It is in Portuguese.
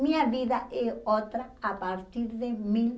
Minha vida é outra a partir de mil